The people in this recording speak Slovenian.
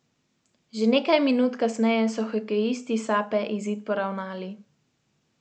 Nekaj, kar se v zgodovini demokratične Slovenije še ni zgodilo.